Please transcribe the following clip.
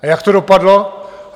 A jak to dopadlo?